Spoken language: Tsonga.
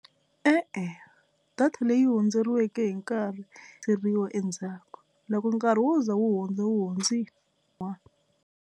E-e, data leyi hundzeriweke hi nkarhi endzhaku loko nkarhi wo za wu hundza wu hundzile.